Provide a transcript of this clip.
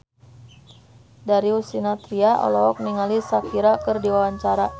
Darius Sinathrya olohok ningali Shakira keur diwawancara